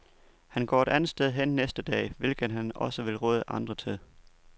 Han går et andet sted hen næste gang, hvilket han også vil råde andre til.